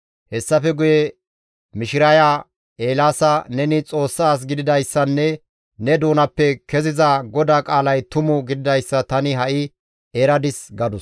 Hessafe guye mishireya Eelaasa, «Neni Xoossa as gididayssanne ne doonappe keziza GODAA qaalay tumu gididayssa tani ha7i eradis» gadus.